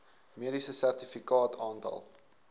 mediese sertifikaat aantal